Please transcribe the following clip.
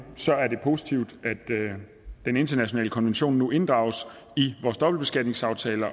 er positivt at den internationale konvention nu inddrages i vores dobbeltbeskatningsaftaler